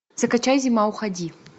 закачай зима уходи